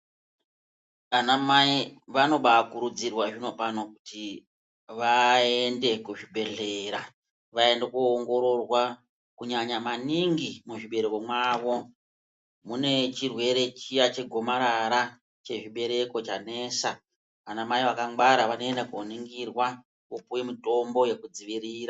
Vanamai vanobakurudzirwa zvinopano kuti vaende kuzvibhedhlera vaende koongororwa kunyanya maningi muzvibereko mwavo. Mune chirwere chiya chegomarara chezvibereko chanesa anamai vakangwara vanoenda koningirwa vopuve mutombo vekudzivirira.